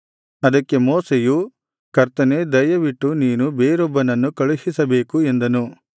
ಅದಕ್ಕೆ ಮೋಶೆಯು ಕರ್ತನೇ ದಯವಿಟ್ಟು ನೀನು ಬೇರೊಬ್ಬನನ್ನು ಕಳುಹಿಸಬೇಕು ಎಂದನು